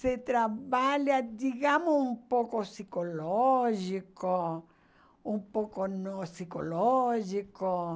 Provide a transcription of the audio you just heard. Se trabalha, digamos, um pouco psicológico, um pouco no psicológico.